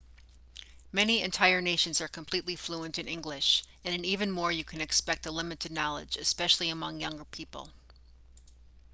many entire nations are completely fluent in english and in even more you can expect a limited knowledge especially among younger people